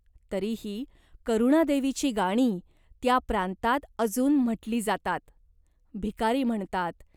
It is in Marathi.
तरीही करुणादेवीची गाणी त्या प्रांतात अजून म्हटली जातात. भिकारी म्हणतात.